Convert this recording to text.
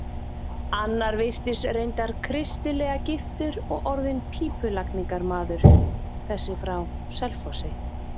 Annar virtist reyndar kristilega giftur og orðinn pípulagningarmaður, þessi frá Selfossi.